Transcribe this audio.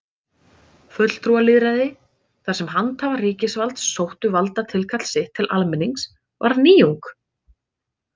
Fulltrúalýðræði, þar sem handhafar ríkisvalds sóttu valdatilkall sitt til almennings, var nýjung.